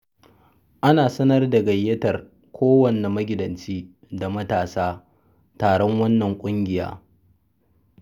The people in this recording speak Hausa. Ana sanar da gayyatar kowane magidanci da matasa taron wannan ƙungiya.